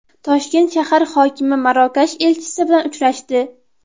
Toshkent shahar hokimi Marokash elchisi bilan uchrashdi.